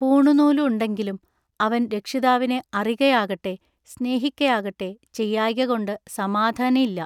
പൂണുനൂലു ഉണ്ടെങ്കിലും അവൻ രക്ഷിതാവിനെ അറികയാകട്ടെ സ്നേഹിക്കയാകട്ടെ ചെയ്യായ്കകൊണ്ടു സമാധാനഈല്ല.